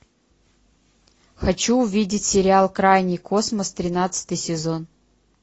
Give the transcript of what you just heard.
хочу увидеть сериал крайний космос тринадцатый сезон